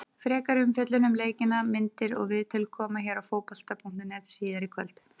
Frekari umfjöllun um leikina, myndir og viðtöl, koma hér á Fótbolta.net síðar í kvöld.